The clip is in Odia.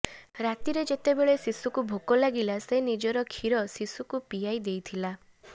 ରାତିରେ ଯେତେବେଳେ ଶିଶୁକୁ ଭୋକ ଲାଗିଲା ସେ ନିଜର ଖିର ଶିଶୁତୁ ପିଆଇ ଦେଇଥିଲା